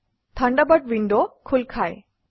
Thunderbird wind খোল খায়